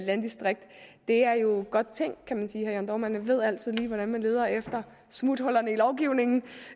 landdistrikt er jo godt tænkt kan man sige herre jørn dohrmann ved altid lige hvordan man leder efter smuthullerne i lovgivningen